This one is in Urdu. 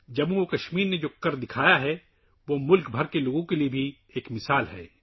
جموں و کشمیر نے پچھلے مہینے میں جو کچھ کیا ہے وہ پورے ملک کے لوگوں کے لیے ایک مثال ہے